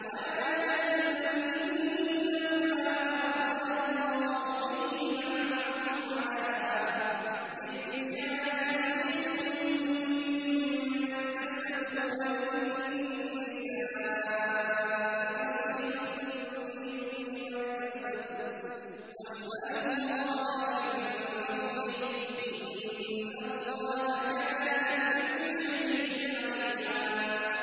وَلَا تَتَمَنَّوْا مَا فَضَّلَ اللَّهُ بِهِ بَعْضَكُمْ عَلَىٰ بَعْضٍ ۚ لِّلرِّجَالِ نَصِيبٌ مِّمَّا اكْتَسَبُوا ۖ وَلِلنِّسَاءِ نَصِيبٌ مِّمَّا اكْتَسَبْنَ ۚ وَاسْأَلُوا اللَّهَ مِن فَضْلِهِ ۗ إِنَّ اللَّهَ كَانَ بِكُلِّ شَيْءٍ عَلِيمًا